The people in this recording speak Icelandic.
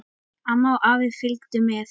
Amma og afi fylgdu með.